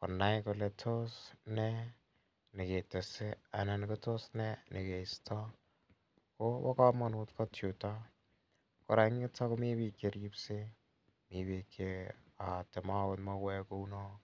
konai kole tos ne ne ketese anan ko tos ne ne kaistai. Ko pa kamanut kot yutok. Kora en yutok komi piik che ripsei, mi piik che aati mauek kou no,